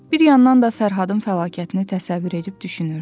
Bir yandan da Fərhadın fəlakətini təsəvvür edib düşünürdü.